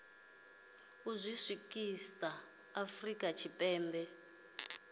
u zwi ḓisa afrika tshipembe